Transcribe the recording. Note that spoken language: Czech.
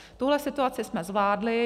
Tuhle situaci jsme zvládli.